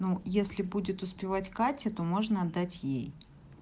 ну если будет успевать катя то можно отдать ей